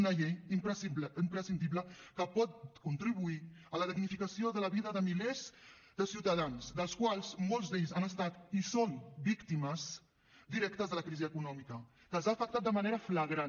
una llei imprescindible que pot contribuir a la dignificació de la vida de milers de ciutadans dels quals molts d’ells han estat i són víctimes directes de la crisi econòmica que els ha afectat de manera flagrant